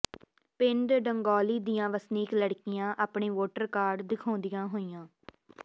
ਪਿੰਡ ਡੰਗੌਲੀ ਦੀਆਂ ਵਸਨੀਕ ਲੜਕੀਆਂ ਆਪਣੇ ਵੋਟਰ ਕਾਰਡ ਦਿਖਾਉਂਦੀਆਂ ਹੋਈਆਂ